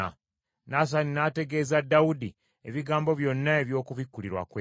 Nasani n’ategeeza Dawudi ebigambo byonna eby’okubikkulirwa kwe.